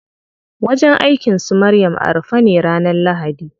Wajen aikin su Maryam a rufe ne ranar lahadi.